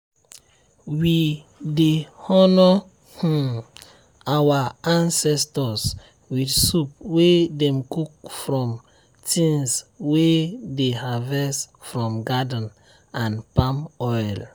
we dey honor um our ancestors with soup wey dem cook from tins way dey harvest from garden and palm oil.